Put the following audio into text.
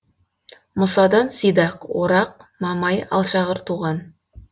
мұсадан сидақ орақ мамай алшағыр туған